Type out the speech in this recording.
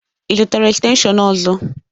Ị zụtara estenshịon ọzọ?